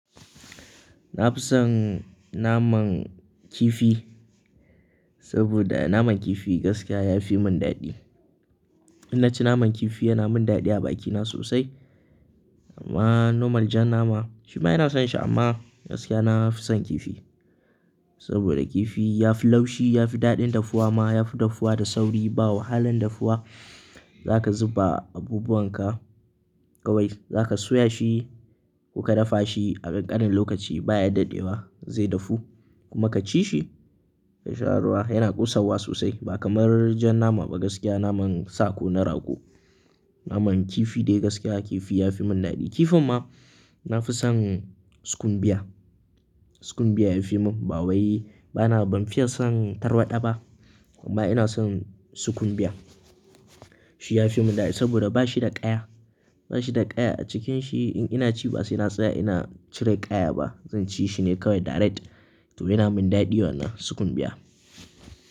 Nafi son naman kifi, sabida naman kifi gaskiya yafi mun daɗi. In naci naman kifi yana mun daɗi a bakina sosai. Amma normal jan nama shima ina son shi amma gaskiya nafi son kifi. Sabida kifi yafi laushi, yafi daɗin dafuwa ma, yafi dafuwa da sauri, ba wahalan dafuwa. Zaka zuba abubuwan ka kawai, zaka soya shi ko ka dafa shi a ƙanƙanin lokaci baya daɗewa zai dafu. Kuma ka ci shi da sharuwa yana ƙosarwa sosai ba kamar jan nama ba gaskiya naman sa ko na rago. Naman kifi dai gaskiya kifi ya fi mun daɗi. Kifin ma nafi son sukumbiya. Sukumbiya yafi mun ba wai bana, ban fiya son tarwaɗa ba, amma ina son sukumbiya. Shi yafi mun daɗi sabida ba shi da ƙaya, ba shi da ƙaya a cikin shi in ina ci ba sai na tsaya ina cire ƙaya ba. Zan ci shi ne kawai direct, to yana mun daɗi wannan sukumbiya.